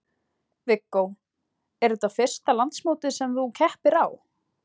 Viggó: Er þetta fyrsta landsmótið sem að þú keppir á?